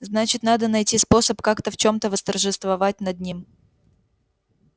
значит надо найти способ как-то в чем-то восторжествовать над ним